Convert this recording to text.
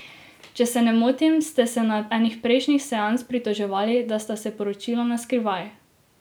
Če se ne motim, ste se na eni prejšnjih seans pritoževali, da sta se poročila naskrivaj ...